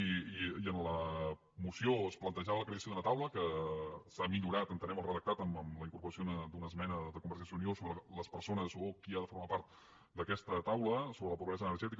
i en la moció es plantejava la creació d’una taula que se n’ha millorat entenem el redactat amb la incorporació d’una esmena de convergència i unió sobre les persones o qui ha de formar part d’aquesta taula sobre la pobresa energètica